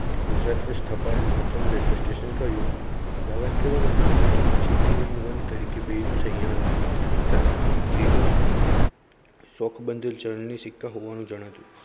ગુજરાતમાં સ્થપાયેલ પ્રથમ railway station અમદાવાદ કે વડોદરા કે પછી TWO IN ONE તરીકે બેનુ સહીયાર હતા ત્રીજું થોકબંધ ચલણી સિક્કા જણાતું